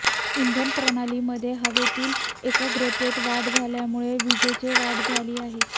इंधन प्रणालीमध्ये हवातील एकाग्रतेत वाढ झाल्यामुळे विजेची वाढ झाली आहे